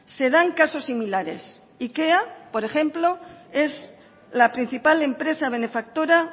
se dan casos similares ikea por ejemplo es la principal empresa benefactora